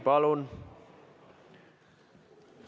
Palun!